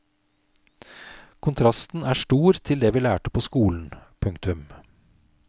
Kontrasten er stor til det vi lærte på skolen. punktum